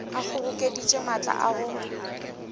a kgobokeditše maatla a go